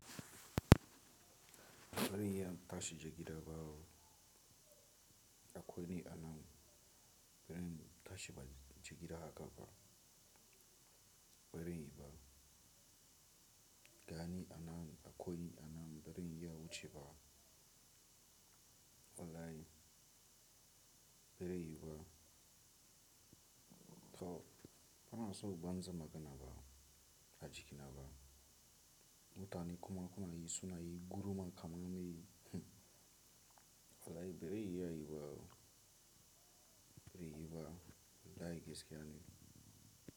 Bari in yi tashin jigida ba, akwai ni a nan. Bari in tashi ba jigida haka ba. Bari in yi ba. Gani a nan akwai ni a nan. Bari in yi wuce ba. Wallahi. Bari yi ba. To bana so banza magana ba, a jiki na ba. Mutane kuma suna yi, gurma kama mun yi. Wallahi bari yi a yi ba. Bari yi ba. Da gaske ne.